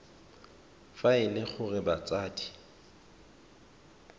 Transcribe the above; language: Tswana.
fa e le gore batsadi